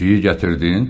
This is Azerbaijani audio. Pişiyi gətirdin?